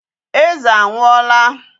Eze anwụọla.